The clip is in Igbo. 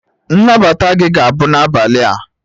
Nnabata gị ga-abụ n'abalị a